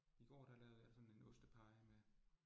I går, der lavede jeg sådan en ostepie med